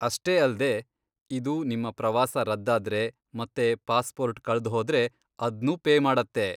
ಅಷ್ಟೇ ಅಲ್ದೇ, ಇದು ನಿಮ್ಮ ಪ್ರವಾಸ ರದ್ದಾದ್ರೆ ಮತ್ತೆ ಪಾಸ್ಪೋರ್ಟ್ ಕಳ್ದ್ಹೋದ್ರೆ ಅದ್ನೂ ಪೇ ಮಾಡತ್ತೆ.